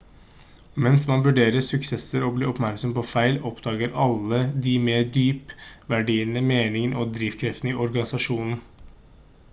mens man vurderer suksesser og blir oppmerksom på feil oppdager alle de mer dyp verdiene meningen og drivkreftene i organisasjonen